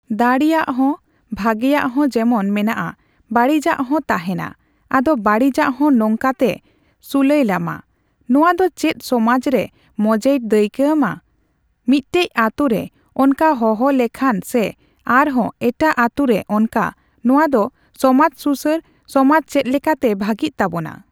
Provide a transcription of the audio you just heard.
ᱫᱟᱲᱤᱭᱟᱜ ᱦᱚᱸ, ᱵᱷᱟᱹᱜᱤᱭᱟᱜ ᱦᱚᱸ ᱡᱮᱢᱚᱱ ᱢᱮᱱᱟᱜᱼᱟ, ᱵᱟᱹᱲᱤᱡᱟᱜ ᱦᱚᱸ ᱛᱟᱦᱮᱸᱱᱟ᱾ ᱟᱫᱚ ᱵᱟᱹᱲᱤᱡᱟᱜ ᱦᱚᱸ ᱱᱚᱝᱠᱟ ᱛᱮ ᱥᱩᱞᱟᱹᱭᱞᱟᱢᱟ ᱾ ᱱᱚᱣᱟ ᱫᱚ ᱪᱮᱫ ᱥᱚᱢᱟᱡ ᱨᱮ ᱢᱚᱸᱡᱮᱭ ᱫᱟᱹᱭᱠᱟᱹ ᱮᱢᱟ ᱾ ᱢᱤᱫᱴᱮᱡ ᱟᱹᱛᱩ ᱨᱮ ᱚᱱᱠᱟ ᱦᱚᱦᱚ ᱞᱮᱠᱷᱟᱱ ᱥᱮ ᱟᱨᱦᱚᱸ ᱮᱴᱟᱜ ᱟᱹᱛᱩ ᱨᱮ ᱚᱱᱠᱟ, ᱱᱚᱣᱟ ᱫᱚ ᱥᱚᱢᱟᱡ ᱥᱩᱥᱟᱹᱨ, ᱥᱚᱢᱟᱡ ᱪᱮᱫᱞᱮᱠᱟᱛᱮ ᱵᱷᱟᱹᱜᱤᱜ ᱛᱟᱵᱚᱱᱟ?